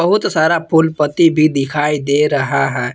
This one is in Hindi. बहुत सारा फूल पत्ती भी दिखाई दे रहा है।